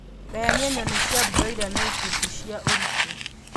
Gayania nyoni cia broila na ikundi cia ũritũ